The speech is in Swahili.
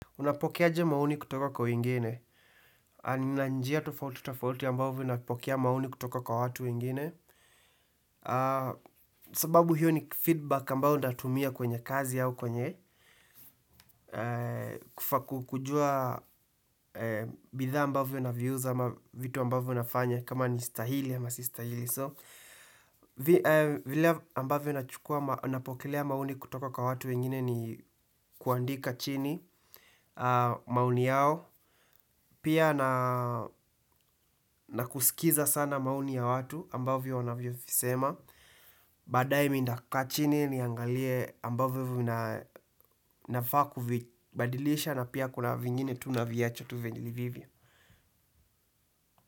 Unapokeaje maoni kutoka kwa wengine, nina njia tofauti tofauti ambavo napokea maoni kutoka kwa watu wengine. Sababu hiyo ni feedback ambayo ntatumia kwenye kazi au kwenye kufa kujua bidhaa ambavyo naviuza ama vitu ambavo nafanya kama ni stahili ama sistahili So, vile ambavyo napokelea maoni kutoka kwa watu wengine ni kuandika chini. Maoni yao. Pia na kusikiza sana maoni ya watu ambavyo wanavyovisema. Badai minda kaa chini niangalie ambavyo vinafaku badilisha na pia kuna vingine tu naviacha tu venye vilivyo.